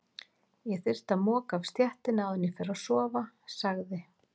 Ég þyrfti að moka af stéttinni áður en ég fer að sofa, sagði